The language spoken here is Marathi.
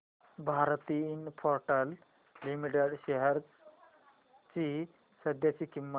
भारती इन्फ्राटेल लिमिटेड शेअर्स ची सध्याची किंमत